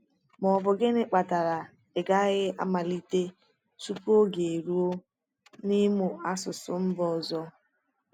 Ma ọ bụ gịnị kpatara ị gaghị amalite tupu oge eruo n’ịmụ asụsụ mba ọzọ?